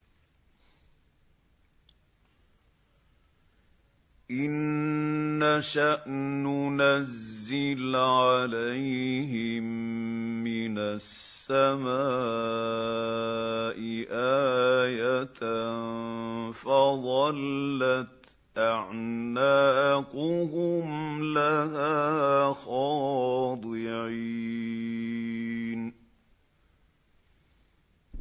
إِن نَّشَأْ نُنَزِّلْ عَلَيْهِم مِّنَ السَّمَاءِ آيَةً فَظَلَّتْ أَعْنَاقُهُمْ لَهَا خَاضِعِينَ